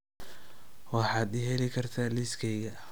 waxaad ii heli kartaa liisaskayga